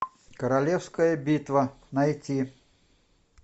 королевская битва найти